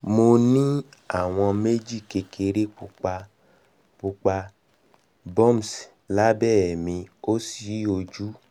mo ni awọn meeji kekere pupa kekere pupa bumps labẹ mi osi oju